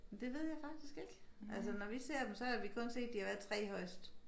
Det ved jeg faktisk ikke altså når vi ser dem så har vi kun set de har været 3 højest